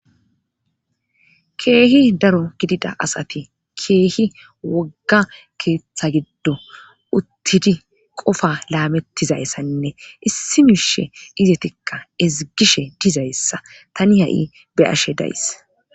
keehi daro gidida asati keehi wogga keeththa giddo uttidi qofa laamettizayssanne issi miishe izetikka ezigishe dizayssa tani ha7i be ashe days